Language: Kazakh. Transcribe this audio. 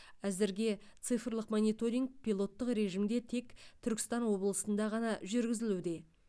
әзірге цифрлық мониторинг пилоттық режимде тек түркістан облысында ғана жүргізілуде